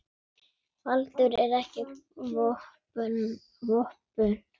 Baldur er ekki búinn vopnum.